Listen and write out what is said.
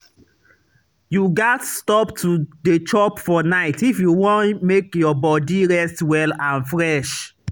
you gats stop to dey chop for night if you wan make your body rest well and fresh.